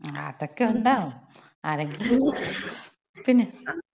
അതക്ക ഒണ്ടാവും. ആരെങ്കിലും വരും. പിന്നെ.